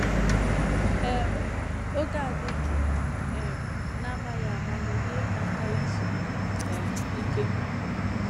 um Oge a dị jụụ um n’amaghị ama na-enyèrè m aka izu um íké